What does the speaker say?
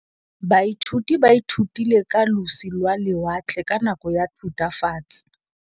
Baithuti ba ithutile ka losi lwa lewatle ka nako ya Thutafatshe.